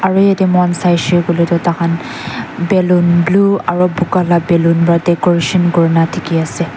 aru moi saise koile tu tar khan balloon blue aru boga laga balloon para decoration kori se.